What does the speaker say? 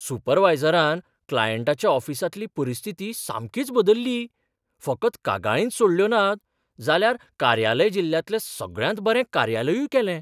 सुपरवायझरान क्लायंटाच्या ऑफिसांतली परिस्थिती सामकीच बदल्ली, फकत कागाळींच सोडयल्यो नात, जाल्यार कार्यालय जिल्ल्यांतलें सगळ्यांत बरें कार्यलयूय केलें.